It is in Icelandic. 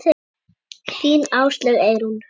Þín Áslaug Eyrún.